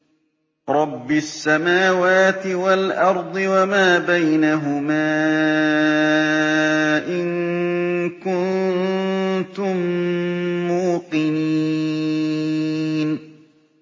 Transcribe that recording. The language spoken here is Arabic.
رَبِّ السَّمَاوَاتِ وَالْأَرْضِ وَمَا بَيْنَهُمَا ۖ إِن كُنتُم مُّوقِنِينَ